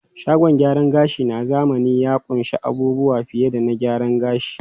Shagon gyaran gashi na zamani ya ƙunshi abubuwa fiye da gyaran gashi.